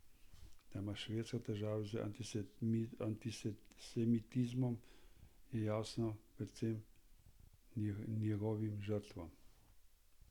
Da ima Švedska težave z antisemitizmom, je jasno predvsem njegovim žrtvam.